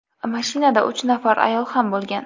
Mashinada uch nafar ayol ham bo‘lgan.